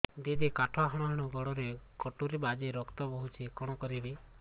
ଦିଦି କାଠ ହାଣୁ ହାଣୁ ଗୋଡରେ କଟୁରୀ ବାଜି ରକ୍ତ ବୋହୁଛି କଣ କରିବି